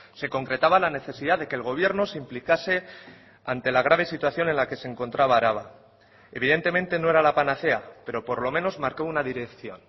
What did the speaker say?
se concretaba la necesidad de que el gobierno se implicase ante la grave situación en la que se encontraba araba evidentemente no era la panacea pero por lo menos marcó una dirección